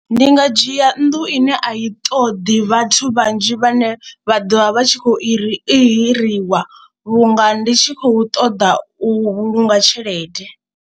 Ndi nga dzhia nnḓu ine a i toḓi vhathu vhanzhi vhane vha ḓovha vha tshi khou i hiriwa vhunga ndi tshi khou ṱoḓa u vhulunga tshelede.